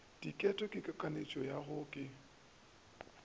ditete ke tlhakanetswiki yo ke